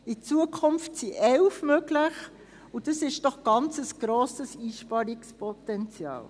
In Zukunft werden 11 möglich sein, und das ist doch ein ganz grosses Einsparungspotenzial.